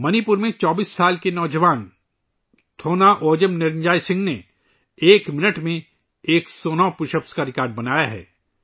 منی پور کے 24 سالہ نوجوان تھونا اوجم نرنجوئے سنگھ نے ایک منٹ میں 109 پش اپس کا ریکارڈ قائم کیا ہے